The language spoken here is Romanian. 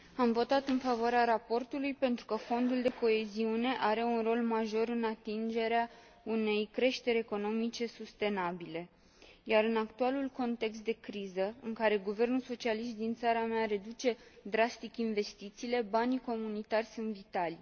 Am votat în favoarea raportului, pentru că Fondul de coeziune are un rol major în atingerea unei creșteri economice sustenabile, iar, în actualul context de criză, în care guvernul socialist din țara mea reduce drastic investițiile, banii comunitari sunt vitali.